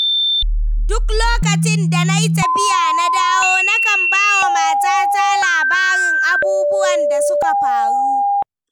Duk lokacin da na yi tafiya, na dawo, nakan ba wa matata labarin abubuwan da suka faru.